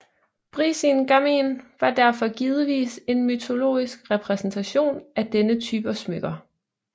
Brísingamen var derfor givetvis en mytologisk repræsentation af denne type smykker